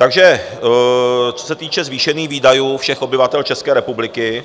Takže co se týče zvýšení výdajů všech obyvatel České republiky